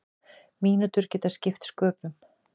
Mínútur geti skipt sköpum.